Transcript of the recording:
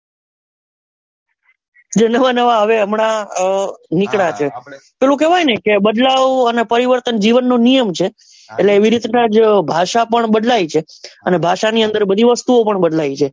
ને જે નવા નવા હમણાં હવે નીકળ્યા છે પેલું કેવાય કે બદલાવ અને પરિવર્તન જીવન નો નિયમ છે એટલે એવી રીત નાં જ ભાષા પણ બદલાય છે અને ભાષા ની અંદર બધી વસ્તુ ઓ પણ બદલ્ય છે.